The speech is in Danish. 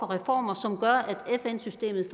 reformer som gør at fn systemet